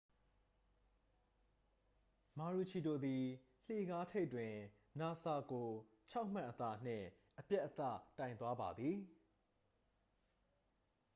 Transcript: မာရူချီဒိုသည် လှေကားထိပ်တွင် နူဆာကို 6မှတ်အသာနှင့် အပြတ်အသတ်ိုင်သွားပါသည်